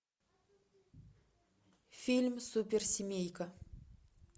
фильм суперсемейка